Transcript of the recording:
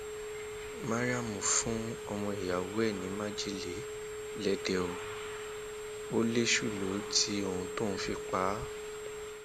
mariam um fún ọmọ ìyàwó ẹ ní májèlé jẹ lèdè ó um lèṣù lọ tí òun tóun fi pa á